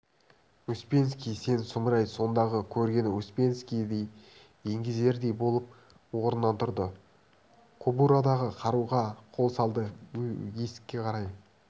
успенский сен сұмырай сондағы көргені успенский еңгезердей болып орнынан тұрды кобурадағы қаруға қол салды есікке қарай